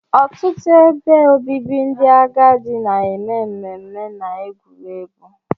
Ọtụtụ ebe obibi ndị agadi na-eme mmemme na egwuregwu